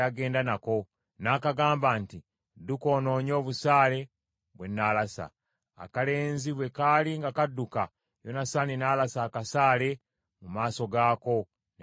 n’akagamba nti, “Dduka onoonye obusaale bwe nnaalasa.” Akalenzi bwe kaali nga kadduka, Yonasaani n’alasa akasaale mu maaso gaako ne kamusookayo.